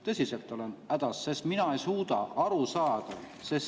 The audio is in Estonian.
Tõsiselt olen hädas, sest ma ei suuda aru saada.